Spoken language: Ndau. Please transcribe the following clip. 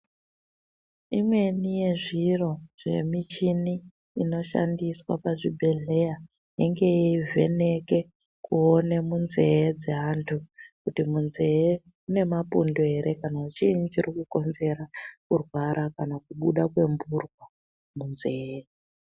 Imweni yezviro zvemuchini inoshandiswa pachibhedhlera inenge yeivheneke kuone munzee dzeantu kuti munzeee mune mapundu ere kana kuti chiibi chiri kukonzera kurwara kana kubuda kwempurwa munzee.